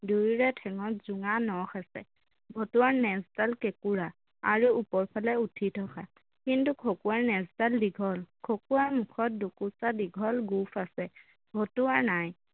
দুয়োৰে ঠেংত জোঙা নখ আছে, ভতুৱাৰ নেজডাল কেঁকোৰা আৰু ওপৰফালে উঠি থকা কিন্তু খকুৱাৰ নেজডাল দীঘল খকুৱাৰ মুখত দুকোছা দীঘল গোঁফআছে ভতুৱাৰ নাই